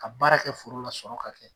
Ka baara kɛ foro la, sɔrɔ ka kɛ.